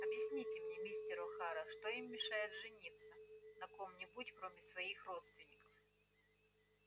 объясните мне мистер охара что им мешает жениться на ком-нибудь кроме своих родственников